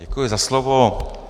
Děkuji za slovo.